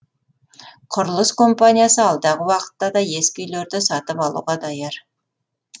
құрылыс компаниясы алдағы уақытта да ескі үйлерді сатып алуға даяр